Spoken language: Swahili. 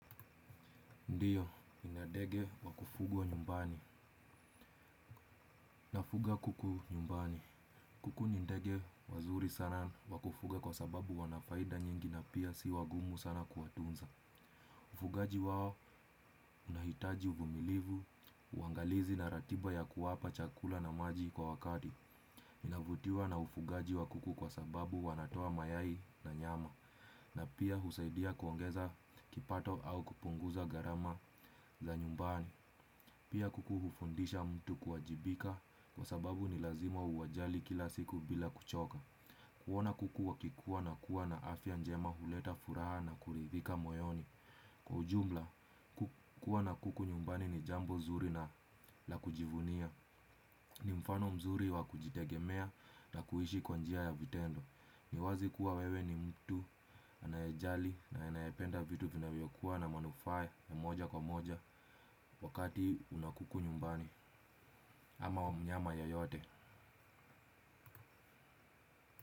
Ndiyo, nina ndege wakufugwa nyumbani. Nafuga kuku nyumbani. Kuku ni ndege wazuri sana wakufuga kwa sababu wanafaida nyingi na pia si wagumu sana kuwatunza. Ufugaji wao unahitaji uvumilivu, uangalizi na ratiba ya kuwapa chakula na maji kwa wakati. Ninavutiwa na ufugaji wa kuku kwa sababu wanatoa mayai na nyama. Na pia husaidia kuongeza kipato au kupunguza gharama za nyumbani. Pia kuku hufundisha mtu kuwajibika kwa sababu ni lazima uwajali kila siku bila kuchoka. Kuona kuku wakikua na kuwa na afya njema huleta furaha na kuridhika moyoni. Kwa ujumla kukuwa na kuku nyumbani ni jambo nzuri na la kujivunia. Ni mfano mzuri wa kujitegemea na kuishi kwa njia ya vitendo. Ni wazi kuwa wewe ni mtu anayejali na anayependa vitu vinavyokua na manufaa ya moja kwa moja. Wakati una kuku nyumbani ama mnyama yeyote.